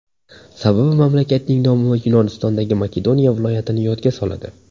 Sababi mamlakatning nomi Yunonistondagi Makedoniya viloyatini yodga soladi.